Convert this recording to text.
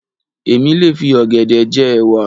Èmi lè fi ọ̀gẹ̀dẹ̀ je'wà.